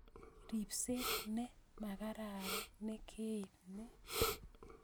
Ripset ne makararan ne kaip ni